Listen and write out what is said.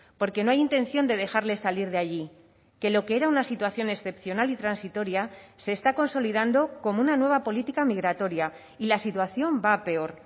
porque no hay intención de dejarle salir de allí que lo que era una situación excepcional y transitoria se está consolidando como una nueva política migratoria y la situación va a peor